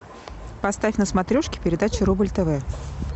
поставь на смотрешке передачу рубль тв